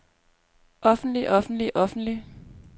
offentlig offentlig offentlig